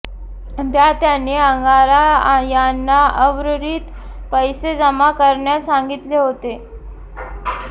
त्यात त्यांनी अंगारा यांना उर्वरित पैसे जमा करण्यास सांगितले होते